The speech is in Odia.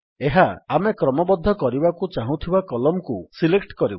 ଏହା ଆମେ କ୍ରମବଦ୍ଧ କରିବାକୁ ଚାହୁଁଥିବା କଲମ୍ କୁ ସିଲେକ୍ଟ କରିବ